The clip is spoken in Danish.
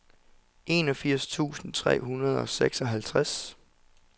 enogfirs tusind tre hundrede og seksoghalvtreds